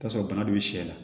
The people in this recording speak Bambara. I bi t'a sɔrɔ bana dun sɛ la